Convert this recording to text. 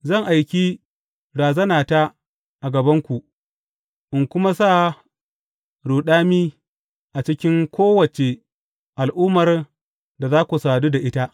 Zan aiki razanata a gabanku, in kuma sa ruɗami a cikin kowace al’ummar da za ku sadu da ita.